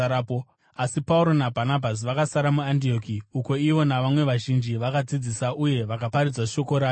Asi Pauro naBhanabhasi vakasara muAndioki, uko ivo navamwe vazhinji vakadzidzisa uye vakaparidza shoko raShe.